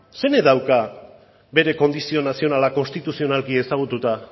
zeinek dauka bere kondizio nazionala konstituzionalki ezagututa